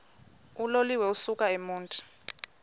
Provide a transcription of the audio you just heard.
uloliwe ukusuk emontini